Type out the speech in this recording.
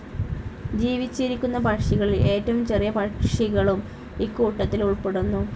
ജിവിച്ചിരിക്കുന്ന പക്ഷികളിൽ ഏറ്റവും ചെറിയ പക്ഷികളും ഇക്കൂട്ടത്തിൽ ഉൾപ്പെടുന്നു.